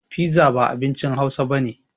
Fiza ba abincin hausa bane